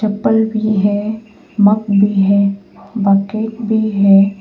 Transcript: Bulb भी है mug भी है और बकेट भी है।